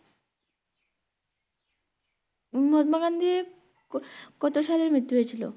মহাত্মা গান্ধীর ক~কত সালে মৃত্যু হয়েছিল?